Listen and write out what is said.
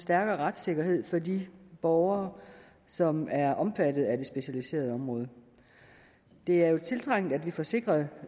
stærkere retssikkerhed for de borgere som er omfattet af det specialiserede område det er jo tiltrængt at vi får sikret